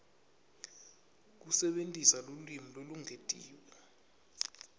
kusebentisa lulwimi lolwengetiwe